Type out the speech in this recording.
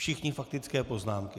Všichni faktické poznámky.